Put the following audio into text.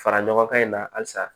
Fara ɲɔgɔn ka ɲi na halisa